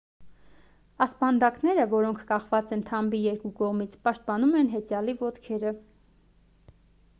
ասպանդակները որոնք կախված են թամբի երկու կողմից պաշտպանում են հեծյալի ոտքերը